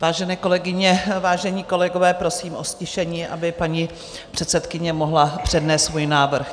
Vážené kolegyně, vážení kolegové, prosím o ztišení, aby paní předsedkyně mohla přednést svůj návrh.